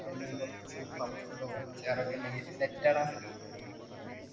പിന്നെ കുറച്ച് പപ്പടവും അച്ചാറും ഒക്കെ ഉണ്ടെങ്കിൽ set ആട